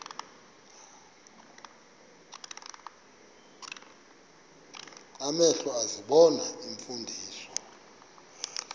amehlo ezibona iimfundiso